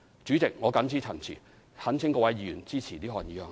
主席，我謹此陳辭，懇請各位議員支持這項議案。